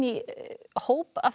hóp af þessu